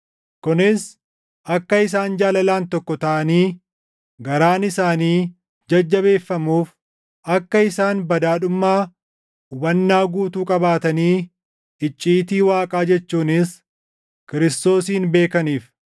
Kunis akka isaan jaalalaan tokko taʼanii garaan isaanii jajjabeeffamuuf, akka isaan badhaadhummaa hubannaa guutuu qabaatanii icciitii Waaqaa jechuunis Kiristoosin beekaniif;